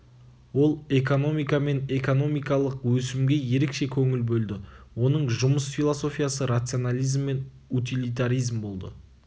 ол экономика мен экономикалық өсімге ерекше көңіл бөлді оның жұмыс философиясы рационализм мен утилитаризм болды